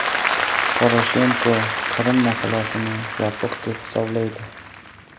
Poroshenko Qrim masalasini yopiq deb hisoblaydi.